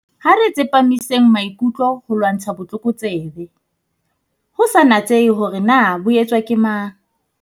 Ha re tsepamiseng maikutlo ho ho lwantsha botlokotsebe, ho sa natsehe hore na bo etswa ke mang.